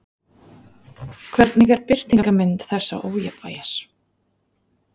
Hvernig er birtingarmynd þessa ójafnvægis?